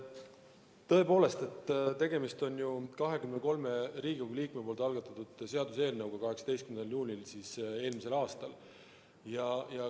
Tõepoolest, tegemist on 23 Riigikogu liikme algatatud seaduseelnõuga, mis esitati eelmise aasta 18. juunil.